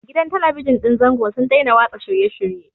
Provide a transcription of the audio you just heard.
Gidan Talabijin ɗin zango sun daina watsa shirye-shirye.